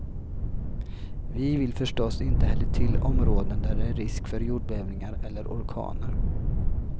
Vi vill förstås inte heller till områden där det är risk för jordbävningar eller orkaner.